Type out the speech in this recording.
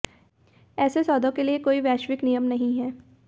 ऐसे सौदों के लिए कोई वैश्विक नियम नहीं हैं